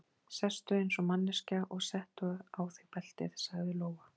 Sestu eins og manneskja og settu á þig beltið, sagði Lóa.